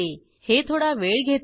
हे थोडा वेळ घेते